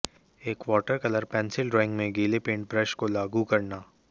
एक watercolour pencil drawing में गीले पेंट ब्रश को लागू करना